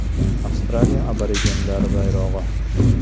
Avstraliya aborigenlari bayrog‘i.